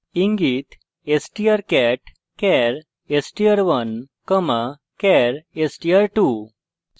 ইঙ্গিত: strcat char str1 char str2;